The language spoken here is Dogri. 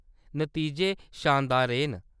नतीजे शानदार रेह् न।